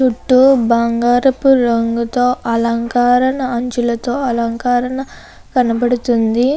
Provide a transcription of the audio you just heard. చుట్టూ బంగారపు రంగుతో అలంకారణ అంచులతో అలంకారణ కనబడుతుంది.